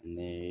Ne ye